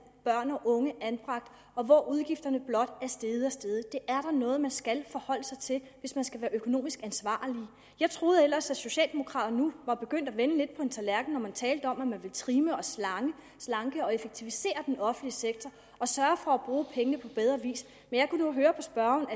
børn og unge anbragt og hvor udgifterne blot er steget og steget det er noget man skal forholde sig til hvis man skal være økonomisk ansvarlig jeg troede ellers lidt at socialdemokraterne nu var begyndt at vende på en tallerken når man talte om at man ville trimme og slanke og effektivisere den offentlige sektor og sørge for at bruge pengene på bedre vis men jeg kunne nu høre på spørgeren